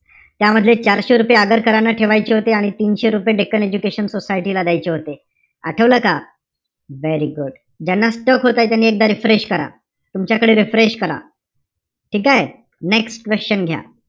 त्यामधले चारशे रुपये आगरकरांना ठेवायचे होते आणि तीनशे रुपये डेक्कन एजुकेशन सोसायटीला द्यायचे होते. आठवलं का? Very good. ज्यांना stuck होतंय. त्यांनी एकदा refresh करा. तुमच्याकडे refresh करा. ठीकेय? Next question घ्या.